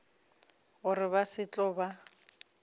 gore ba se tlo ba